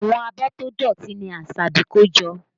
Àwọn abọ́ tó dọ̀tí ni Asabi kó jọ